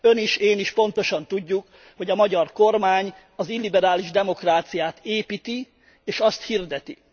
Ön is, én is pontosan tudjuk, hogy a magyar kormány az illiberális demokráciát építi, és azt hirdeti.